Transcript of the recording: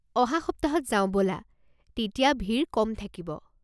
অহা সপ্তাহত যাওঁ ব'লা, তেতিয়া ভিৰ কম থাকিব।